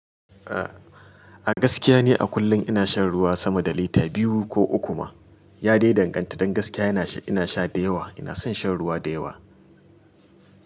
A gaskiya ni a kullum ina shan ruwa sama da lita biyu ko uku ma. Ya dai danganta, don gaskiya ina sha da yawa. Ina son shan ruwa da yawa.